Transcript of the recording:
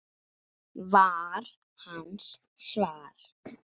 var hans svar.